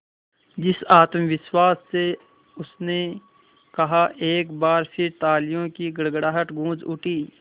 जिस आत्मविश्वास से उसने कहा एक बार फिर तालियों की गड़गड़ाहट गूंज उठी